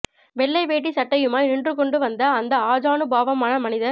வெள்ளை வேட்டி சட்டையுமாய் நின்று கொண்டு வந்த அந்த ஆஜானுபாவமான மனிதர்